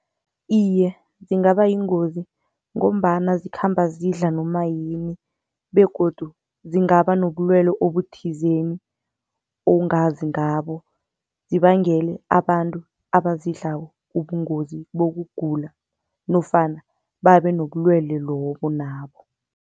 Iye, zingabayingozi ngombana zikhamba zidla nomayini begodu zingaba nobulwelwe obuthizeni ongazi ngabo, zibangele abantu abazidlako ubungozi bokugula nofana babe nobulwelwe lobo nabo.